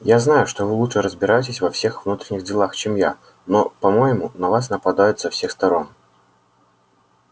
я знаю что вы лучше разбираетесь во всех внутренних делах чем я но по-моему на вас нападают со всех сторон